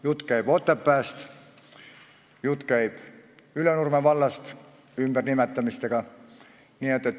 Jutt käib Otepääst, Ülenurme vallast ja ümbernimetamistest.